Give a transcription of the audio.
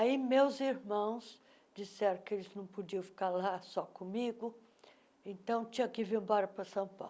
Aí meus irmãos disseram que eles não podiam ficar lá só comigo, então tinha que vir embora para São Paulo.